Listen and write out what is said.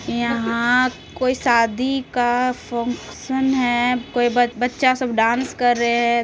यहाँ कोई शादी का फोनक्शन है बच्चा सब डांस कर रहे हैं।